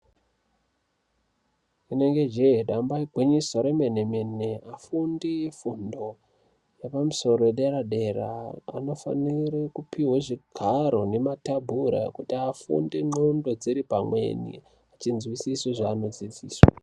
Rinenge jee damba igwinyiso remene mene vafundi vefundo yepamusoro yedera dera vanofanire kupiwa zvigaro nematebhura kuti vafunde ndxondo dziri pamwe vachizwisisa zvavanodzidziswa.